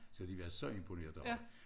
Så de var så imponerede over det